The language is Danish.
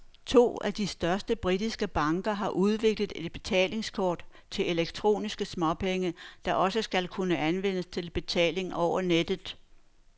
To af de største britiske banker har udviklet et betalingskort til elektroniske småpenge, der også skal kunne anvendes til betaling over nettet.